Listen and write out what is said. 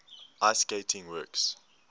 ice skating works